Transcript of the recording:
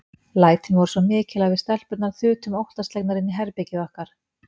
Lætin voru svo mikil að við stelpurnar þutum óttaslegnar inn í herbergið okkar.